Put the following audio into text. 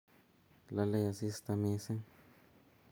lolei asista mising